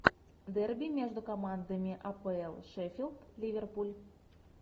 дерби между командами апл шеффилд ливерпуль